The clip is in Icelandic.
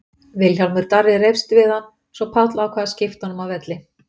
Vilhjálmur Darri reifst við hann svo Páll ákvað að skipta honum af velli.